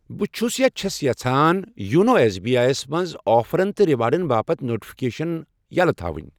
بہٕ چھَُس یا چھَس یژھان یونو ایٚس بی آی یَس منٛز آفرَن تہٕ ریوارڑَن باپتھ نوٹفکیشن یَلہٕ تھاوٕنۍ.